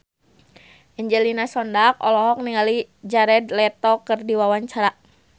Angelina Sondakh olohok ningali Jared Leto keur diwawancara